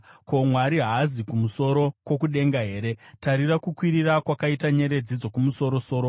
“Ko, Mwari haazi kumusoro kwokudenga here? Tarira kukwirira kwakaita nyeredzi dzokumusoro-soro!